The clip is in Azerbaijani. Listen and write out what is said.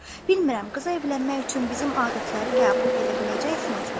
Bilmirəm, qıza evlənmək üçün bizim adətləri qəbul edə biləcəksinizmi?